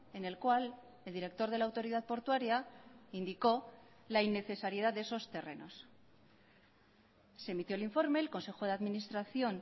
en el cual el director de la autoridad portuaria indicó la innecesariedad de esos terrenos se emitió el informe el consejo de administración